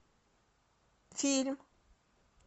фильм